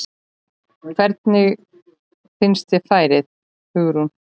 Hugrún: Hvernig finnst þér færið?